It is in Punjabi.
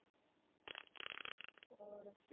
ਔਰ।